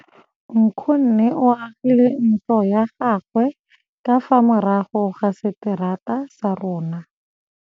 Nkgonne o agile ntlo ya gagwe ka fa morago ga seterata sa rona.